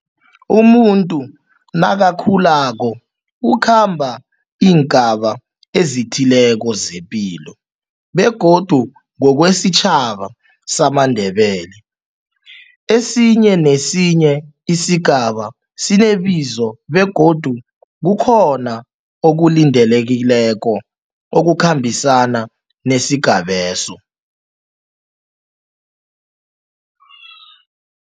Umuntu nakakhulako ukhamba iingaba ezithileko zepilo begodu ngokwesitjhaba samaNdebele, esinye nesinye isigaba sinebizo begodu kukhona okulindelekileko okukhambisana nesigabeso.